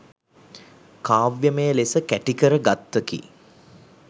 කාව්‍යමය ලෙස කැටිකර ගත්තකි.